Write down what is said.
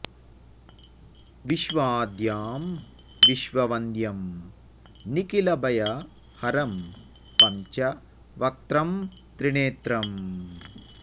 विश्वाद्यं विश्ववन्द्यं निखिल भय हरं पंच वक्त्रं त्रिनेत्रम्